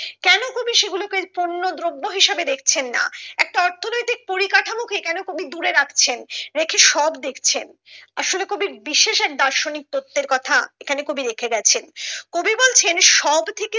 কেন কবি সেগুলোকে পণ্য দ্রব্য হিসাবে দেখছেন না একটা অর্থনৈতিক পরিকাঠামো কে কেন কবি দূরে রাখছেন রেখে সব দেখছেন আসলে কবি বিশেষ এক দার্শনিক তথ্যের কথা এখানে কবি রেখে গেছেন কবি বলছেন সব থেকে